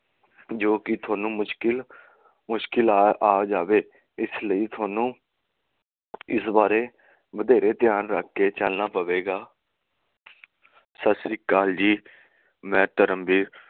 ਜੋ ਕਿ ਥੋਨੂੰ ਮੁਸ਼ਕਿਲ ਆ ਜਾਵੇ ਇਸ ਲਈ ਤੁਹਾਨੂੰ ਇਸ ਬਾਰੇ ਵਧੇਰੇ ਧਿਆਨ ਰੱਖ ਕੇ ਚਲਣਾ ਪਵੇਗਾ ਸਤਸ਼ੀਅਕਾਲ ਜੀ ਮੈਂ ਧਰਮਵੀਰ